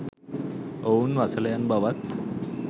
ඔවුන් වසලයන් බවත්